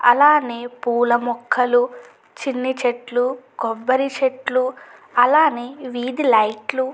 అలానే పూల మొక్కలు చిన్ని చెట్లు కొబ్బరి చెట్లు అలానే వీధి లైట్ లు--